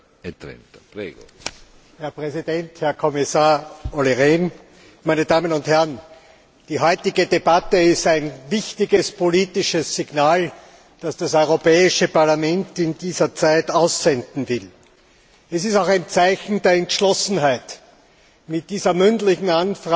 Herr Präsident, Herr Kommissar Olli Rehn, meine Damen und Herren! Die heutige Debatte ist ein wichtiges politisches Signal, das das Europäische Parlament in dieser Zeit aussenden will. Es ist auch ein Zeichen der Entschlossenheit mit dieser mündlichen Anfrage mitten im Prozess